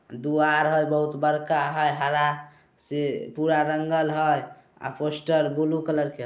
दुवार हाय बड़का हरा हरा से पूरा रंगल हय और पोस्टर ब्लू कलर के--